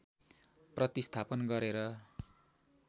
प्रतिस्थापन गरेर